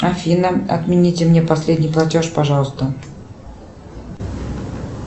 афина отмените мне последний платеж пожалуйста